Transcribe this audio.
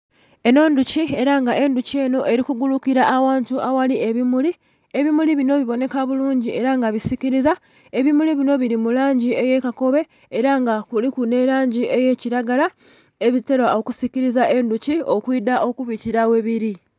Eno ndhoki era nga endhoki eno eri kugurukila aghantu aghali ebimuli, ebimuli bino bibonheka bulungi era nga bisikiliza ebimuli bino bili mulangi eya kakobe era nga kuliku nilangi eya kilagara ebitera okusiklisa endhoki okwida okubikila webiri